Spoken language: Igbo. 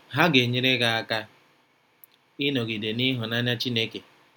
Ha ga-enyere gị aka ịnọgide n’ịhụnanya Chineke.